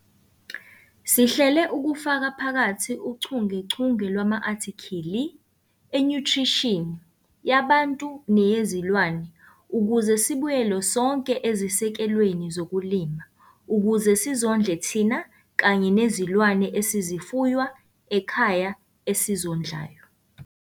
Sihlela ukufaka phakathi uchungechunge lwama-athikhili enyuthrishini, yabantu neyezilwane ukuze sibuyele sonke ezisekelweni zokulima - ukuze sizondle thina kanye nezilwane esizifuywa ekhaya esizondlayo.